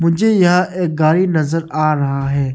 मुझे यहां एक गाड़ी नजर आ रहा है।